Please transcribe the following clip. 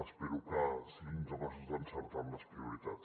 espero que siguin capaços d’encertar amb les prioritats